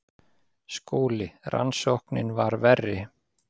SKÚLI: Rannsóknin var verri.